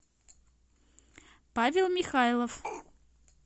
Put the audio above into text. павел михайлов